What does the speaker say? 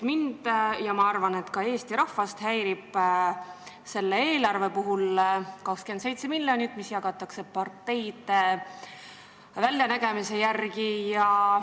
Ma arvan, et ka Eesti rahvast häirib selle eelarve puhul, et 27 miljonit jagatakse parteide äranägemise järgi.